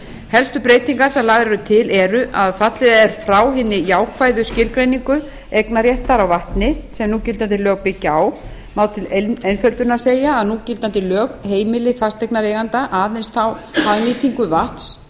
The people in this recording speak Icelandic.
helstu breytingar sem lagðar eru til eru að fallið er frá hinni jákvæðu skilgreiningu eignarréttar á vatni sem núgildandi lög byggja á má til einföldunar segja að núgildandi lög heimili fasteignareiganda aðeins þá hagnýtingu vatns